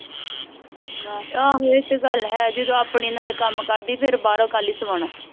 ਆਹੋ ਇਹ ਤੇ ਗੱਲ ਹੈ ਜਦੋ ਆਪਣੀ ਨਾਲੇ ਕਮ ਕਰਦੀ ਫੇਰ ਬਾਹਰੋਂ ਕਾਲੀ ਸਵੌਣਾ